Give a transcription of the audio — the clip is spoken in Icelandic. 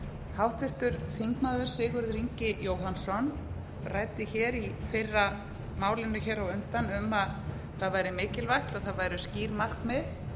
háttvirtur þingmaður sigurður ingi jóhannsson ræddi í fyrra málinu hér á undan um að það væri mikilvægt að það væru skýr markmið